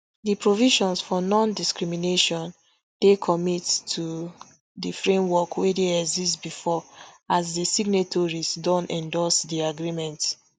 di provisions for nondiscrimination dey commit to di framework wey dey exist bifor as di signatories don endorse di agreement